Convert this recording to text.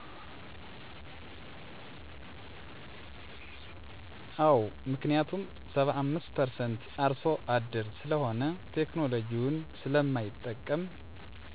አወ ምክንያቱም 75%አርሱ አደር ስለሆነ ቴክኖሎጁዉን ስለማይጠቀም